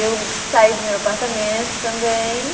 Eu saí do meu apartamento também.